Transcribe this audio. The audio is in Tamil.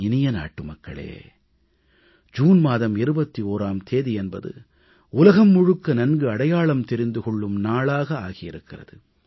என் இனிய நாட்டுமக்களே ஜூன் மாதம் 21ஆம் தேதி என்பது உலகம் முழுக்க நன்கு அடையாளம் தெரிந்து கொள்ளும் நாளாக ஆகி இருக்கிறது